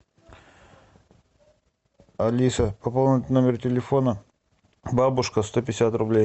алиса пополнить номер телефона бабушка сто пятьдесят рублей